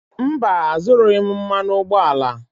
Mba, azụrụghị m mmanụ ụgbọala.